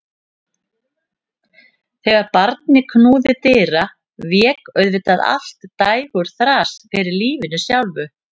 Þegar barnið knúði dyra vék auðvitað allt dægurþras fyrir lífinu sjálfu.